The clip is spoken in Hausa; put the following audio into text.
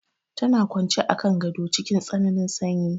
Tana kwance a kan gado cikin tsananin sanyi.